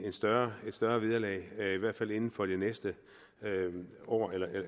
et større større vederlag i hvert fald inden for det næste år